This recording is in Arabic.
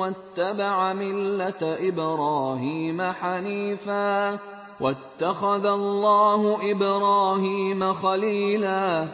وَاتَّبَعَ مِلَّةَ إِبْرَاهِيمَ حَنِيفًا ۗ وَاتَّخَذَ اللَّهُ إِبْرَاهِيمَ خَلِيلًا